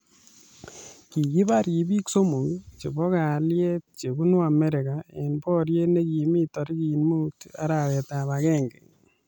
Kikibar ribiik somok chebo kalyet chebunu Amerika eng boriet nekimi tarik muut arawetab agenge